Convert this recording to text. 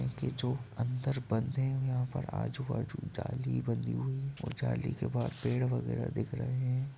इनके जो अंदर बंधे हुए हैं। यहाँ पर जो आजू बाजु जाली बंधी हुई है और जाली के बाहर पेड़ बगेरा दिख रहे हैं।